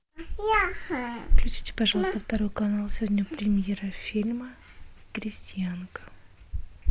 включите пожалуйста второй канал сегодня премьера фильма крестьянка